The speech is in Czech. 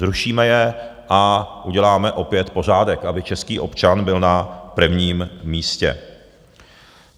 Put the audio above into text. Zrušíme je a uděláme opět pořádek, aby český občan byl na prvním místě.